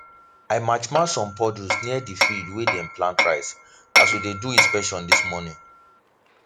i match match some puddles near the field wey them plant rice as we dey do inspection this morning